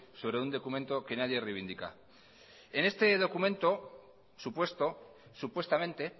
sobre un documento que nadie reivindica en este documento supuesto supuestamente